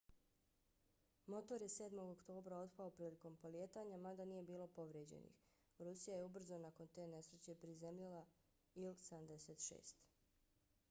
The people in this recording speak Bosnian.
motor je 7. oktobra otpao prilikom polijetanja mada nije bilo povrijeđenih. rusija je ubrzo nakon te nesreće prizemljila il-76